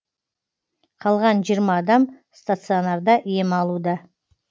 қалған жиырма адам стационарда ем алуда